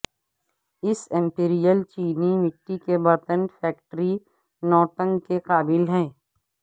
اس imperial چینی مٹی کے برتن فیکٹری نوٹنگ کے قابل ہے